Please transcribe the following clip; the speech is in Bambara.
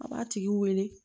A b'a tigi wele